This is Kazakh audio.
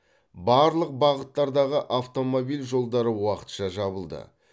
барлық бағыттардағы автомобиль жолдары уақытша жабылды